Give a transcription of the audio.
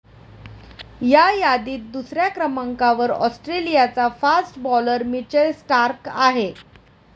या यादीत दुसऱ्या क्रमांकावर ऑस्ट्रेलियाचा फास्ट बॉलर मिचेल स्टार्क आहे.